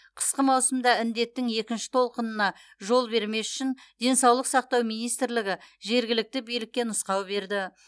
қысқы маусымда індеттің екінші толқынына жол бермес үшін денсаулық сақтау министрлігі жергілікті билікке нұсқау берді